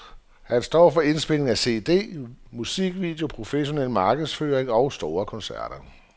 Han står for indspilning af cd, musikvideo, professionel markedsføring og store koncerter.